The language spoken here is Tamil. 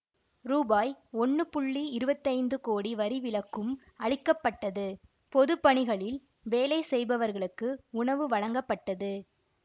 ரூபாய் ஒன்னு புள்ளி இருவத்தி ஐந்து கோடி வரி விலக்கும் அளிக்க பட்டது பொது பணிகளில் வேலை செய்பவர்களுக்கு உணவு வழங்கப்பட்டது